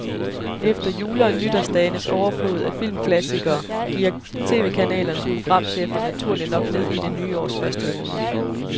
Efter jule- og nytårsdagenes overflod af filmklassikere gearer tv-kanalernes programchefer naturligt nok ned i det nye års første måned.